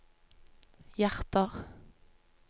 hjerter